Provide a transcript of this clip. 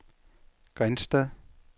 Grindsted